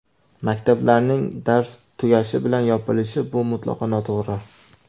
Maktablarning dars tugashi bilan yopilishi - bu mutlaqo noto‘g‘ri.